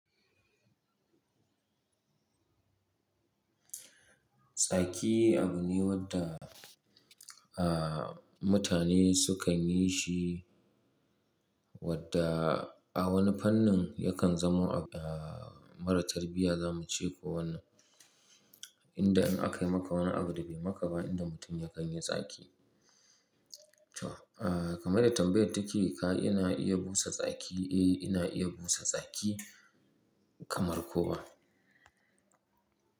Tsaki abu ne wadda, ah, mutane sukan yi shi wadda a wani fannin yakan zamo abu, ah, mara tarbiyya zamu ce ko wannan. Inda in aka yi maka wani abu da bai maka ba, inda mutum ya kan yi tsaki. To, ah, kamar yadda tambayar take ka, ina iya busa tsaki? Eh, ina iya busa tsaki kamar kowa.